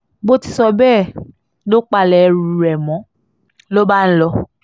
ṣùgbọ́n kò lè sọ bẹ́ẹ̀ lójú àwọn ọmọọṣẹ́ rẹ̀ nínú iṣẹ́ ológun tí wọ́n jọ ń ṣèjọba